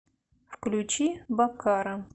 включи баккара